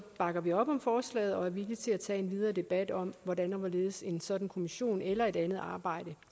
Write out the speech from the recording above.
bakker vi op om forslaget og er villige til at tage en videre debat om hvordan og hvorledes en sådan kommission eller et andet arbejde